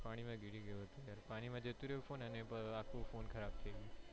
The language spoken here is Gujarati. પાણી માં ગીરી ગયો હતો પાણી માં જતું રહ્યું અને આખો ફોન ખરાબ થઇ ગયો.